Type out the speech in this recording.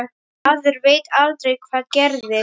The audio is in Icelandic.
Maður veit aldrei hvað gerist.